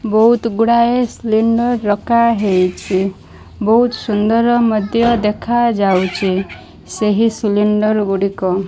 ବୋହୁତ ଗୁଡ଼ାଏ ସ୍ଲିଣ୍ଡର ରଖା ହେଇଛି। ବୋହୁତ ସୁନ୍ଦର ମଧ୍ୟ ଦେଖା ଯାଉଛି‌‌। ସେହି ସିଲିଣ୍ଡର୍ ଗୁଡ଼ିକ।